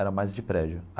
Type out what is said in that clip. Era mais de prédio.